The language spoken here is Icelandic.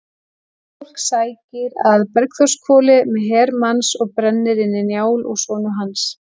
Flosi sækir að Bergþórshvoli með her manns og brennir inni Njál og sonu hans.